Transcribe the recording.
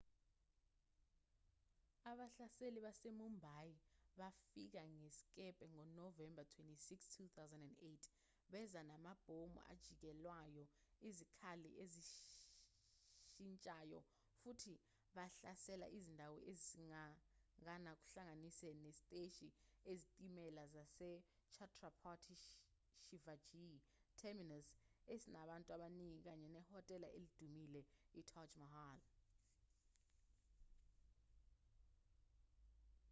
abahlaseli basemumbai bafika ngesikebhe ngonovemba 26 2008 beza namabhomu ajikijelwayo izikhali ezizishintshayo futhi bahlasela izindawo eziningana kuhlanganise nesiteshi sezitimela sase chhatrapati shivaji terminus esinabantu abaningi kanye nehotela elidumile itaj mahal